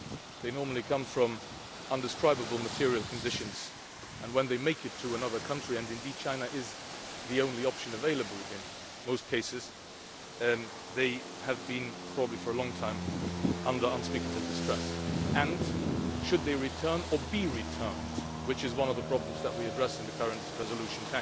They normally come from indescribable material conditions and, when they make it to another country and indeed China is the only option available in most cases they have probably been in unspeakable distress for a long time. And, should they return or be returned, which is one of the problems that we address in the current resolution,